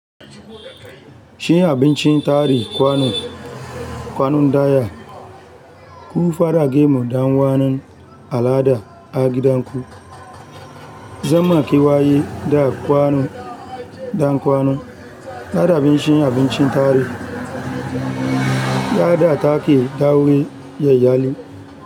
Shi abincin tarihi kwanu kwanun ɗaya. Ku fara gemu dan kwanan al'ada a gidan ku. Zama kewaye da kwano dan kwano dada abinci abincin tare. Yada take da wuri yayali.